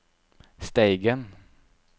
Steigen